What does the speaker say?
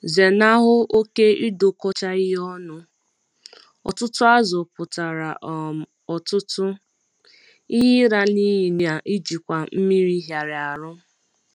Zenahụ oke ịdọkọcha ihe ọnụ - ọtụtụ azụ̀ pụtara um ọtụtụ™ ihe ịla n’iyi na njikwa mmiri hịara ahụ.